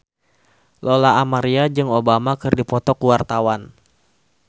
Lola Amaria jeung Obama keur dipoto ku wartawan